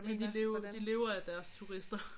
Ja de lever de lever af deres turister